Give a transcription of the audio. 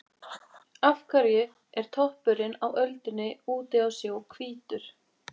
Af hverju er toppurinn á öldunni úti á sjó hvítur?